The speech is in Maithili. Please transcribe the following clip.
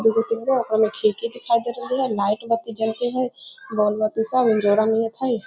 दू गो तीन गो आगे में खिड़की दिखाई दे रहले हेय नाइट बत्ती सब जलते हेय बोल बत्ती सब हेय।